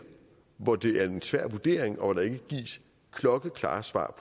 hvor det er en svær vurdering og hvor der ikke gives klokkeklare svar